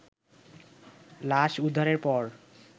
লাশ উদ্ধারের পর